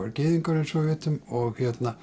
var gyðingur eins og við vitum og